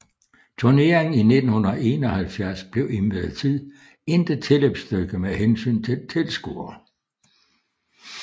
Turneringen i 1971 blev imidlertid intet tilløbsstykke med hensyn til tilskuere